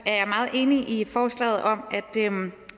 jeg meget enig i forslaget om